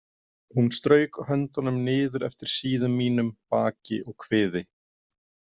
Hún strauk höndunum niður eftir síðum mínum, baki og kviði.